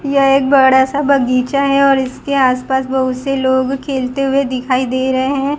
यह एक बड़ा सा बगीचा है और इसके आस पास बहोत से लोग खेलते हुए दिखाई दे रहे है।